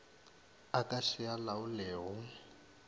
a ka se a laolego